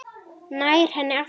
Nær henni aftur.